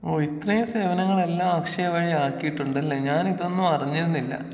ഓ ഇത്രേം സേവനങ്ങളെല്ലാം അക്ഷയ വഴി ആക്കിയിട്ടുണ്ടല്ലേ ഞാനിതൊന്നും അറിഞ്ഞിരുന്നില്ല.